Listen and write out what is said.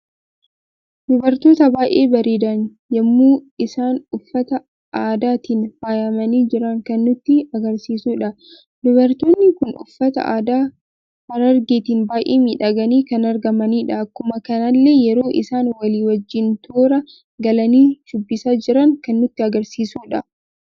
Dubartoota baay'ee bareedan yemmuu isaan uffata aadaatiin faayamani jiran kan nutti agarsiisudha. Dubartoonni kun uffata aadaa harargeetiin baay'ee miidhagani kan argamanidha. Akkuma kanallee yeroo isaan walii wajjiin toora galanii shubbisa jiran kan nutti agarsiisuudha.